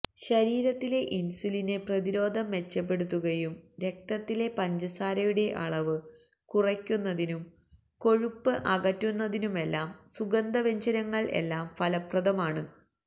രീരത്തിലെ insulin പ്രതിരോധം മെച്ചപെ്പടുത്തുകയും രക്തത്തിലെ പഞ്ചസാരയുടെ അളവ് കുറയ്ക്കുന്നതിനും കൊഴുപ്പ് അകറ്റുന്നതിനുമെല്ലാം സുഗന്ധ വ്യഞ്ജനങ്ങള് എല്ലാം ഫലപ്രദമാണ്